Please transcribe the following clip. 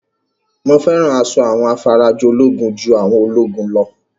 Mo fẹ́ràn asọ àwọn afarajolúgun ju àwọn ológun lọ